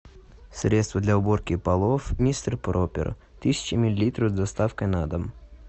средство для уборки полов мистер пропер тысяча миллилитров с доставкой на дом